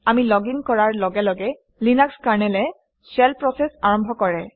আমি লগিন কৰাৰ লগে লগে লিনাক্স কাৰনেলে শেল প্ৰচেছ আৰম্ভ কৰে